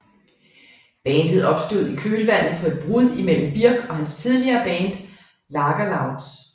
Bandet opstod i kølvandet på et brud mellem Birk og hans tidligere band Lagerloudz